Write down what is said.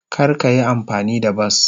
Kar ka yi amfani da bas.